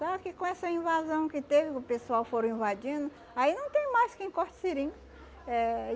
Só que com essa invasão que teve, que o pessoal foram invadindo, aí não tem mais quem corte seringa eh